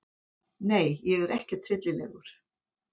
Nei ég er ekkert hryllilegur.